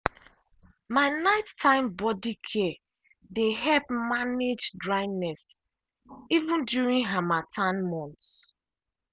my night time body care dey help manage dryness even during harmattan months.